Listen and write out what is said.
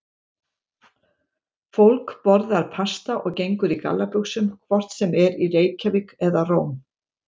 Fólk borðar pasta og gengur í gallabuxum hvort sem er í Reykjavík eða Róm.